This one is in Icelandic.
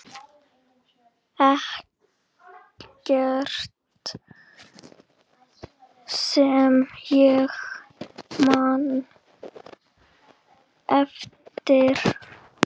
Ekkert sem ég man eftir.